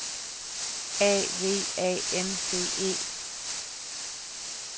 A V A N C E